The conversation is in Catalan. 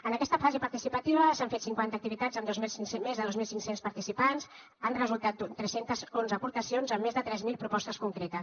en aquesta fase participativa s’han fet cinquanta activitats amb més de dos mil cinc cents participants han resultat tres cents i onze aportacions amb més de tres mil propostes concretes